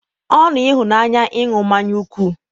ọṅụ ịhụnanya ịṅụ mmanya nkwụ.